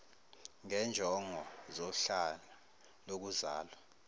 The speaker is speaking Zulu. ngezinjongo zohlanga lokuzalwa